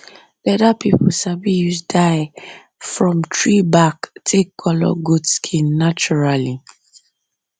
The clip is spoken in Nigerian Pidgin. leather people sabi use dye from tree bark take colour goat skin naturally